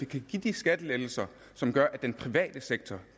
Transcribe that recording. kan give de skattelettelser som gør at den private sektor